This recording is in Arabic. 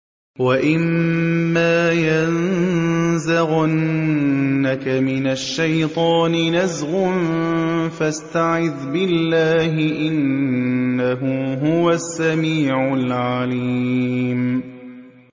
وَإِمَّا يَنزَغَنَّكَ مِنَ الشَّيْطَانِ نَزْغٌ فَاسْتَعِذْ بِاللَّهِ ۖ إِنَّهُ هُوَ السَّمِيعُ الْعَلِيمُ